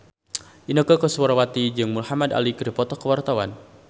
Inneke Koesherawati jeung Muhamad Ali keur dipoto ku wartawan